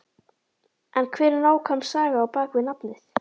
En hver er nákvæm saga á bakvið nafnið?